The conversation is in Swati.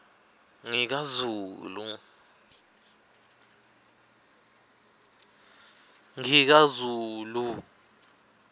ngikazulu